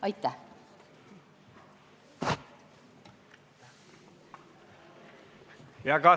Aitäh!